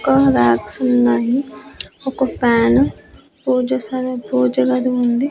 ఒక వ్యాక్స్ ఉన్నాయి ఒక ఫ్యాన్ పూజసదె పూజగది ఉంది.